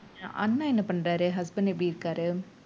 அண்ணா என்ன பண்றாரு husband எப்படி இருக்காரு